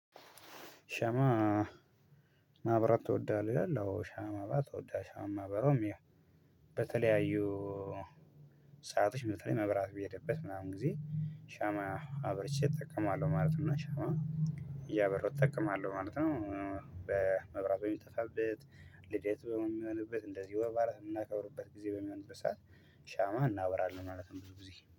ሻማ ማብራት ትወዳለህ ይላል? አዎ ሻማ ማብራት እወዳ ሻማ ማበራውም ያው በተለያዩ ሰአቶች በተለይ መብራት በሄደበት ምናምን ጊዜ ሻማ አብረቼ እጠቀማለሁ ማለት ነው። ሻማ እያበራው እጠቀማለሁ ማለት ነው። በመብራት በሚጠፋበት ልደት በምንሆንበት እንደዚህ ወርባላት የምናከብርበት ጊዜ በሚሆንበት ሰዓት ሻማ እናበራለን ማለትነው። ብዙ ጊዜ